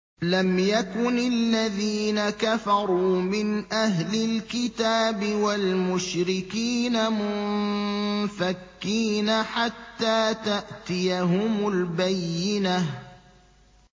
لَمْ يَكُنِ الَّذِينَ كَفَرُوا مِنْ أَهْلِ الْكِتَابِ وَالْمُشْرِكِينَ مُنفَكِّينَ حَتَّىٰ تَأْتِيَهُمُ الْبَيِّنَةُ